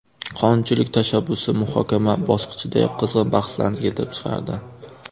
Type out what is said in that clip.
Qonunchilik tashabbusi muhokama bosqichidayoq qizg‘in bahslarni keltirib chiqardi.